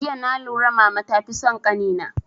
Jiya na lura mama ta fi son kani na